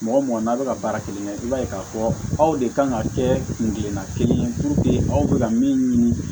Mɔgɔ mɔgɔ n'a bɛ ka baara kelen kɛ i b'a ye k'a fɔ aw de kan ka kɛ kun girinna kelen ye aw bɛ ka min ɲini